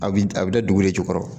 A bi a bi da dugu de jukɔrɔ